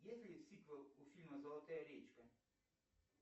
есть ли сиквел у фильма золотая речка